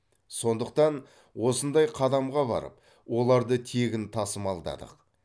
сондықтан осындай қадамға барып оларды тегін тасымалдадық